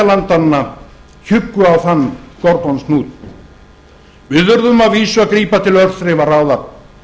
landanna hjuggu á þann gordíonshnút við urðum að vísu að grípa til örþrifaráða